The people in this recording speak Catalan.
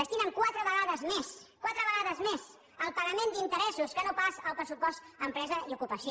destinen quatre vegades més quatre vegades més al pagament d’interessos que no pas al pressupost a empre sa i ocupació